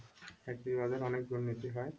চাকরির বাজারে অনেক দুর্নীতি হয়